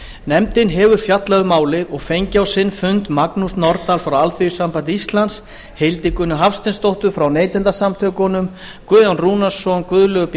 nefndin hefur fjallað um málið og fengið á sinn fund magnús norðdahl frá alþýðusambandi íslands hildigunni hafsteinsdóttur frá neytendasamtökunum guðjón rúnarsson guðlaugu b